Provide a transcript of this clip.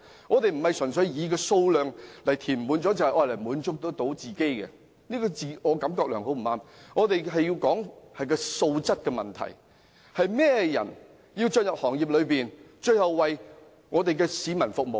我們不是純粹以填滿數量來滿足自己，並非自我感覺良好，而是追求素質，講求甚麼人進入行業為市民服務。